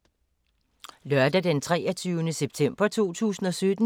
Lørdag d. 23. september 2017